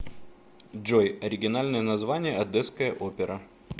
джой оригинальное название одесская опера